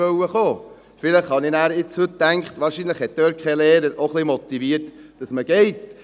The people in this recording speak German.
Heute habe ich nun gedacht, dass dort wahrscheinlich kein Lehrer auch ein wenig motiviert hat, dass man geht.